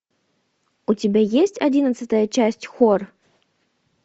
у тебя есть одиннадцатая часть хор